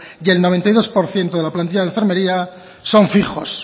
y el noventa y dos por ciento de la plantilla de enfermería son fijos